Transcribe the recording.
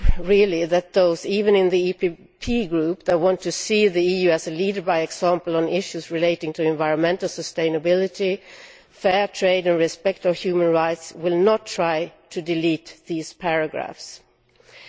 I really hope that those even in the EPP Group who want to see the EU leading by example on issues relating to environmental sustainability, fair trade and respect for human rights, will not try to delete the paragraphs in question.